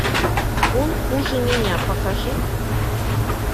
он хуже меня покажи